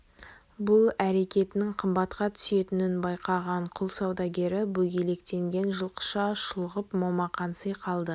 бұл әрекетінің қымбатқа түсетінін байқаған құл саудагері бөгелектеген жылқыша шұлғып момақанси қалды